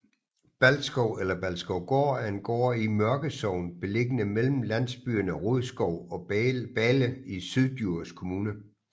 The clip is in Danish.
Balskov eller Balskovgård er en gård i Mørkesogn beliggende mellem landbyerne Rodskov og Bale i Syddjurs Kommune